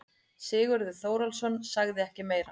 Sigurður Þórólfsson sagði ekki meira.